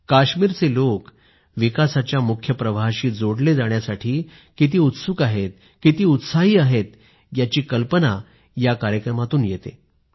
काश्मीरचे लोक विकासाच्या मुख्य प्रवाहाशी जोडले जाण्यासाठी किती उत्सुक आहेत किती उत्साही आहेत याची कल्पना या कार्यक्रमाने येते